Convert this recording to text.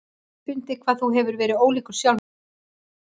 Ég hef fundið hvað þú hefur verið ólíkur sjálfum þér í sumar.